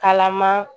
Kalama